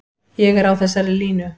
Ég er á þessari línu.